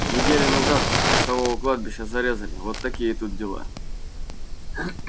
неделю назад часового у кладбища зарезали вот такие тут дела